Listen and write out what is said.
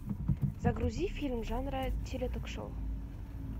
загрузи фильм жанра теле ток шоу